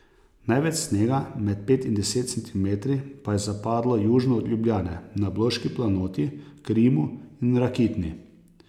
Največ snega, med pet in deset centimetri, pa je zapadlo južno od Ljubljane, na Bloški planoti, Krimu in Rakitni.